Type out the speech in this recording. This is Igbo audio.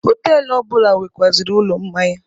Họtelụ ọ bụla nwekwazịrị ụlọ mmanya.